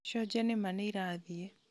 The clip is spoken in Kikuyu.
cionje nĩma nĩirathiĩ